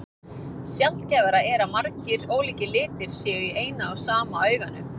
Sjaldgæfara er að margir ólíkir litir séu í eina og sama auganu.